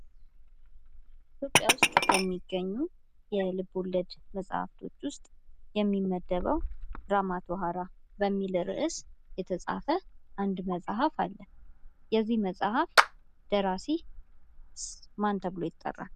ኢትዮጵያ ውስጥ ከሚገኙ የልቦለድ መፅሐፍቶች ውስጥ የሚመደበው ራማቶኃራ በሚል ርዕስ የተፃፈ አንድ መፅሐፍ አለ ። የዚህ መፅሐፍ ደራሲ ማን ተብሎ ይጠራል?